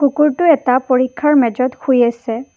কুকুৰটো এটা পৰীক্ষাৰ মেজত শুই আছে।